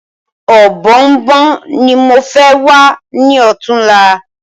Ọ̀bọ̀ọ̀nbọ̀ọ̀n ni mo fẹ wá ní ọ̀túnla